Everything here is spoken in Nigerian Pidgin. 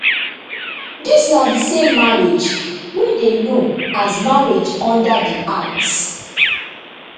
dis na di same marriage wey dey known as marriage under di act